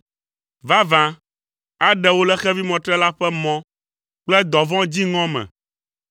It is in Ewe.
Vavã, aɖe wò le xevimɔtrela ƒe mɔ kple dɔvɔ̃ dziŋɔ me.